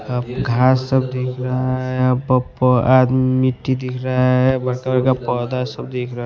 घास सब दिख रहा है आदमी मिट्टी दिख रहा है मटर का पौधा सब दिख रहा--